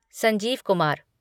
Sanjeev Kumar